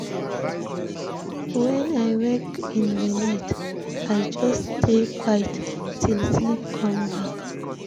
When I wake in the night, I just stay quiet till sleep come back.